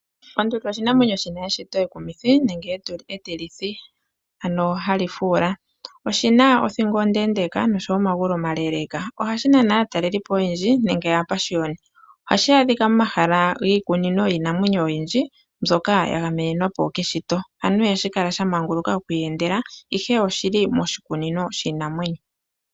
Onduli oshinamwenyo shina eshito ekumithi nenge etilithi ano hali fuula. Oshina othingo ondeendeka oshowoo omagulu omaleeleka . Ohashi nana aatalelipo oyendji nenge aapashioni. Ohashi adhika momahala giikunino yiinanwenyo oyindji mbyoka yagamenwapo keshito ano ihashi kala shamanguluka okwiiyendela ihe oshili moshikunino shiinamwenyo.